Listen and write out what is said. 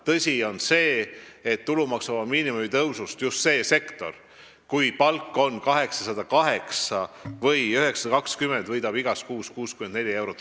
Tõsi on see, et tulumaksuvaba miinimumi tõusust võidetakse just selles sektoris, kui palk on 808 või 920 eurot, igas kuus 64 eurot.